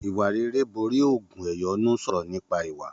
Ìwà rere borí ògùn ẹ̀yọ́nú sọrọ nípa ìwà.